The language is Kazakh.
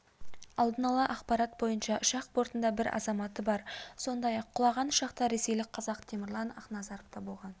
алдын ала ақпарат бойынша ұшақ бортында бір азаматы бар сондай-ақ құлаған ұшақта ресейлік қазақ темірлан ақназаровта болған